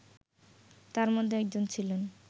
তার মধ্যে একজন ছিলেন